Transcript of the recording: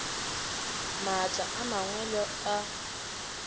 maatla a mangwe le a